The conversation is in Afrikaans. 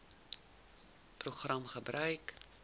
program gebruik